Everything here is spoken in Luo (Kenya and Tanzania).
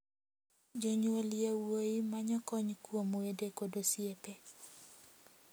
Jonyuol yowuoyi manyo kony kuom wede kod osiepe.